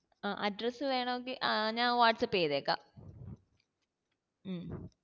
ആ address വേണോ ങ്കിൽ ആഹ് ഞാൻ വാട്സ്ആപ്പ് ചെയ്തേക്കാ മ്മ്